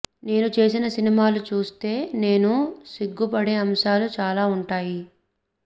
నేను చేసిన సినిమాలు చూస్తే నేను సిగ్గుపడే అంశాలు చాలా ఉంటాయి